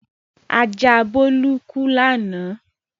Ajá Bólú kú lánàá.